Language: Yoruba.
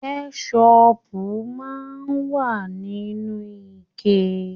Kẹsọpu máa n wa nínú ike.